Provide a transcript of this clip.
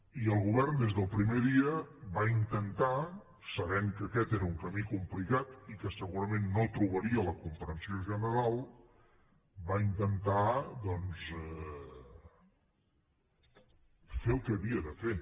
i el govern des del primer dia va intentar sabent que aquest era un camí complicat i que segurament no trobaria la comprensió general doncs fer el que havia de fer